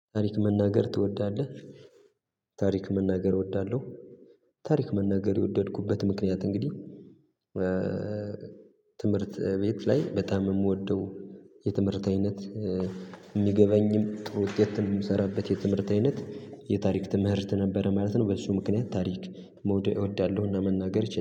ታሪክ መናገር ትወዳለህ? ታሪክ መናገር እወዳለሁ። ታሪክ መናገር የወደድኩበት ምክንያት እንግዲህ ትምህርት ቤት ላይ በጣም የምወደው የትምህርት አይነት የሚገበኝም ጥሩ ውጤት የምሰራበት የትምህርት አይነት የታሪክ ትምህርት ነበረ ማለት ነው። በሱ ምክንያት ታሪክ መውደው እወዳለሁ እና መናገር